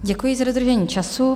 Děkuji za dodržení času.